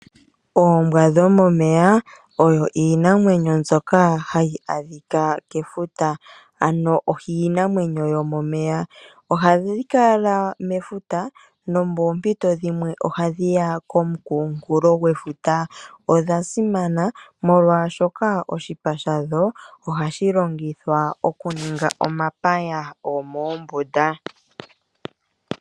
Oombwa dhomomeya odho iinamwenyo mbyoka hayi adhika kefuta, ano iinamwenyo yomomeya. Ohadhi kala mefuta, nomoompito dhimwe ohadhi ya komukunkulo gwefuta. Odha simana molwashoka oshipa shadho ohashi longithwa okuninga omapaya gomoombunda.